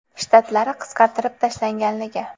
Shtatlari qisqartirib tashlanganligi.